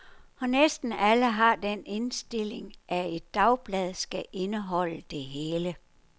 Og næsten alle har den indstilling, at et dagblad skal indeholde det hele.